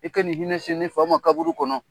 I ka nin hinɛ se nefa ma kaburu kɔnɔ.